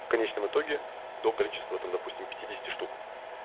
в конечном итоге до количества там допустим питидесяти штук